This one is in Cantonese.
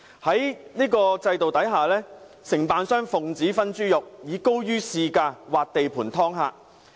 在這種制度下，承辦商奉旨"分豬肉"，以高於市價劃地盤"劏客"。